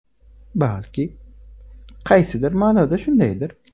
Balki, qaysidir ma’noda shundaydir.